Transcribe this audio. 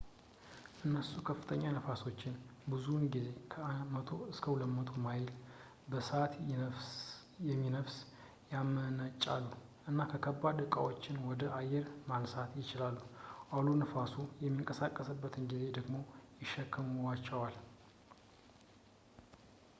እነሱ ከፍተኛ ንፋሶችን ብዙውን ጊዜ ከ 100-200 ማይል / በሰዓት የሚነፍስ ያመነጫሉ እና ከባድ ዕቃዎችን ወደ አየር ማንሳት ይችላሉ ፣ አውሎ ነፋሱ በሚንቀሳቀስበት ጊዜ ደግሞ ይሸከሟቸዋል